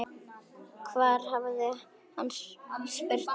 Hvar hafði hún spurt þau?